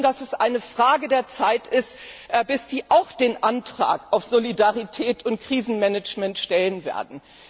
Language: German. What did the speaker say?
Wir wissen, dass es eine Frage der Zeit ist, bis die auch den Antrag auf Solidarität und Krisenmanagement stellen werden.